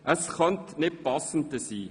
Es könnte nicht passender sein.